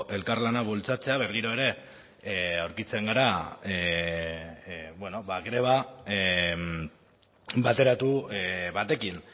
elkarlana bultzatzea berriro ere aurkitzen gara greba bateratu batekin